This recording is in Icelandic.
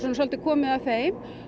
svolítið komið að þeim